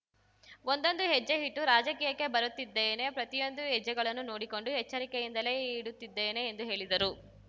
ಒಂದೊಂದೇ ಹೆಜ್ಜೆ ಇಟ್ಟು ರಾಜಕೀಯಕ್ಕೆ ಬರುತ್ತಿದ್ದೇನೆ ಪ್ರತಿಯೊಂದು ಹೆಜ್ಜೆಗಳನ್ನು ನೋಡಿಕೊಂಡು ಎಚ್ಚರಿಕೆಯಿಂದಲೇ ಇಡುತ್ತಿದ್ದೇನೆ ಎಂದು ಹೇಳಿದರು